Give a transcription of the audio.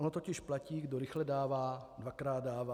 Ono totiž platí kdo rychle dává, dvakrát dává.